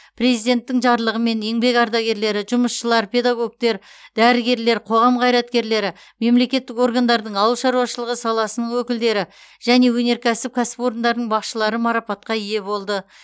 президенттің жарлығымен еңбек ардагерлері жұмысшылар педагогтер дәрігерлер қоғам қайраткерлері мемлекеттік органдардың ауыл шаруашылығы саласының өкілдері және өнеркәсіп кәсіпорындарының басшылары марапатқа ие болды